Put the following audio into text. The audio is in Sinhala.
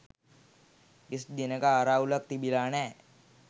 කිසිදු දිනයක ආරවුලක් තිබිලා නෑ.